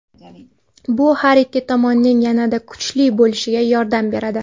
Bu har ikki tomonning yanada kuchli bo‘lishiga yordam beradi.